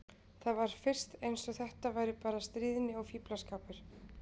Það var fyrst eins og þetta væri bara stríðni og fíflaskapur.